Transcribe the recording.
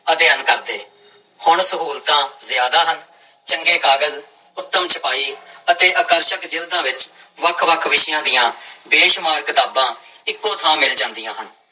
ਅਧਿਐਨ ਕਰਦੇ, ਹੁਣ ਸਹੂਲਤਾਂ ਜ਼ਿਆਦਾ ਹਨ, ਚੰਗੇ ਕਾਗਜ਼ ਉਤਮ ਛਪਾਈ ਅਤੇ ਆਕਰਸ਼ਕ ਜ਼ਿਲਦਾਂ ਵਿੱਚ ਵੱਖ ਵੱਖ ਵਿਸ਼ਿਆਂ ਦੀ ਬੇਸ਼ੁਮਾਰ ਕਿਤਾਬਾਂ ਇੱਕੋ ਥਾਂ ਮਿਲ ਜਾਂਦੀਆਂ ਹਨ।